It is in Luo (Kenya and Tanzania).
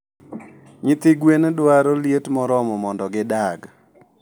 Nyithi gwen dwaro liet moromo mondo gidag